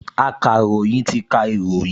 Akàròyìn ti ka ìròyìn